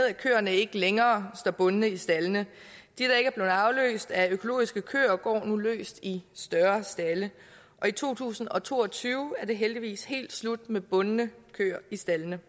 at køerne ikke længere står bundne i staldene de der ikke blev afløst af økologiske køer går nu løst i større stalde og i to tusind og to og tyve er det heldigvis helt slut med bundne køer i staldene